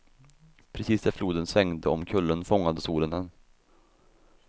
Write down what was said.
Precis där floden svängde om kullen fångade solen den.